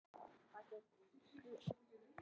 Guðmundína, hvað er í matinn á mánudaginn?